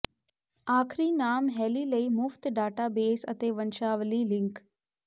ਆਖਰੀ ਨਾਮ ਹੈਲੀ ਲਈ ਮੁਫਤ ਡਾਟਾਬੇਸ ਅਤੇ ਵੰਸ਼ਾਵਲੀ ਲਿੰਕ